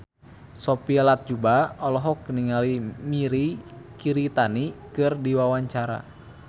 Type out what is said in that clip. Sophia Latjuba olohok ningali Mirei Kiritani keur diwawancara